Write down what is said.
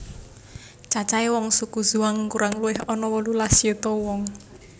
Cacahe wong suku Zhuang kurang luwih ana wolulas yuta wong